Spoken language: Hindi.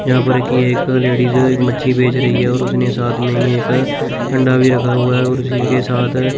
यहां पर की एक लेडिस एक मच्छी बेच रही है और उसने साथ में ही एक अंडा भी रखा हुआ है और उसी के साथ--